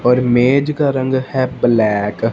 और मेज का रंग है ब्लैक ।